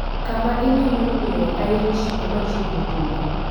kama inyalo yudoe Irish bar machiegni kodi